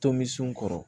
Tomi sukɔrɔ